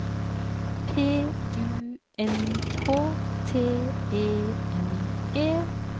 P U N K T E N E